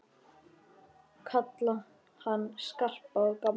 Kalla hann Skarpa og gamla!